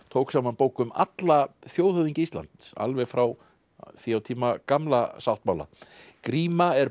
tók saman bók um alla þjóðhöfðingja Íslands alveg frá því á tíma Gamla sáttmála gríma er